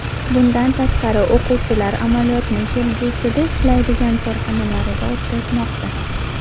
Bundan tashqari o‘quvchilar amaliyotni kelgusida ishlaydigan korxonalarida o‘tamoqda.